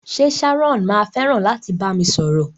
Ṣe Sharon ma fẹràn láti bami sọ̀rọ̀?